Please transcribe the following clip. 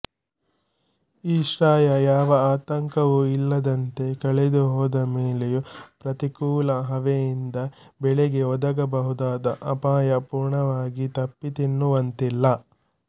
ಈ ಶ್ರಾಯ ಯಾವ ಆತಂಕವೂ ಇಲ್ಲದಂತೆ ಕಳೆದು ಹೋದ ಮೇಲೆಯೂ ಪ್ರತಿಕೂಲ ಹವೆಯಿಂದ ಬೆಳೆಗೆ ಒದಗಬಹುದಾದ ಅಪಾಯ ಪೂರ್ಣವಾಗಿ ತಪ್ಪಿತೆನ್ನುವಂತಿಲ್ಲ